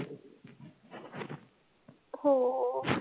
हो हो